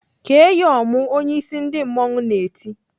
"Kee ya ọmụ!" Onyeisi ndị mmanwụ na-eti.